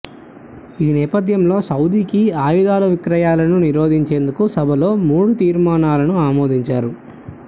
ఈ నేపథ్యంలో సౌదీకి ఆయుధాలు విక్రయాలను నిరోధించేందుకు సభలో మూడు తీర్మానాలను ఆమోదించారు